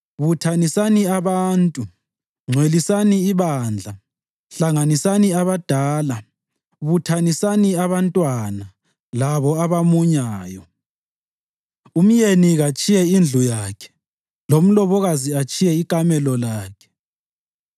Buthanisani abantu, ngcwelisani ibandla; hlanganisani abadala, buthanisani abantwana labo abamunyayo. Umyeni katshiye indlu yakhe lomlobokazi atshiye ikamelo lakhe.